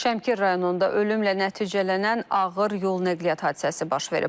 Şəmkir rayonunda ölümlə nəticələnən ağır yol nəqliyyat hadisəsi baş verib.